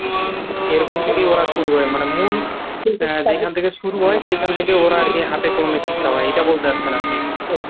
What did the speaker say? এরকম থেকেই ওরা শুরু হয় মানে মূল যেখান থেকে শুরু হয় সেখান থেকেই ওরা আরকি হাতে কলমে শিক্ষা পায় এটা বলতে চাচ্ছেন আপনি।